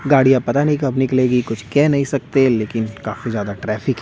गाड़ियां पता नहीं कब निकलेगी कुछ कह नहीं सकते लेकिन काफी ज्यादा ट्रैफिक है।